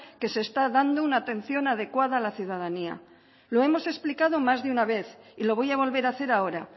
que se está dando una atención adecuada a la ciudadanía lo hemos explicado más de una vez y lo voy a volver a hacer ahora